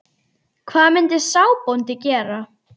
Hvað myndi sá bóndi gera?